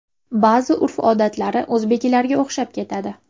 Ba’zi urf-odatlari o‘zbeklarga o‘xshab ketadi.